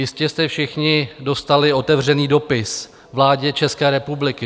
Jistě jste všichni dostali otevřený dopis vládě české republiky.